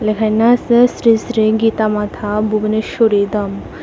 লেখাইনা আসে শ্রী শ্রী গীতা মাথা বুবোনেশ্বরি দাম ।